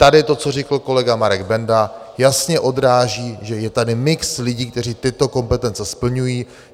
Tady to, co řekl kolega Marek Benda, jasně odráží, že je tady mix lidí, kteří tyto kompetence splňují.